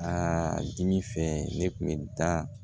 Aa dimi fɛ ne kun bɛ taa